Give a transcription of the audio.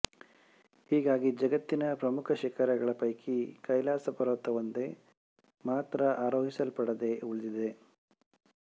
ಹೀಗಾಗಿ ಜಗತ್ತಿನ ಪ್ರಮುಖ ಶಿಖರಗಳ ಪೈಕಿ ಕೈಲಾಸಪರ್ವತವೊಂದು ಮಾತ್ರ ಆರೋಹಿಸಲ್ಪಡದೇ ಉಳಿದಿದೆ